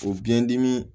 O biyɛn dimi